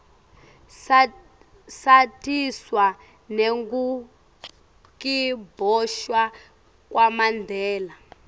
satiswa nengukiboshwa kwamandela